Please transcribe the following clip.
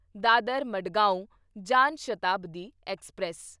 Dadar Madgaon Jan Shatabdi express